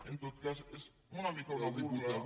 en tot cas és una mica una burla